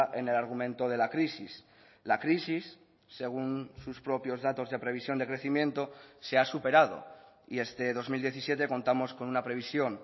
en el argumento de la crisis la crisis según sus propios datos de previsión de crecimiento se ha superado y este dos mil diecisiete contamos con una previsión